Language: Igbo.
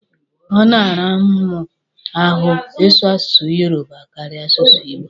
Ọ na-ara mụ ahụ ị sụ asụsụ yoroba karịa asụsụ igbo